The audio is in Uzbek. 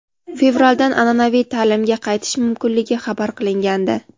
fevraldan an’anaviy ta’limga qaytish mumkinligi xabar qilingandi.